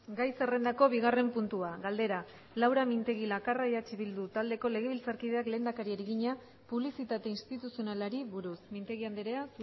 gai zerrendako bigarren puntua galdera laura mintegi lakarra eh bildu taldeko legebiltzarkideak lehendakariari egina publizitate instituzionalari buruz mintegi andrea